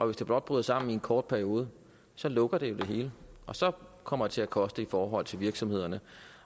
hvis det blot bryder sammen i en kort periode så lukker det jo det hele så kommer det til at koste i forhold til virksomhederne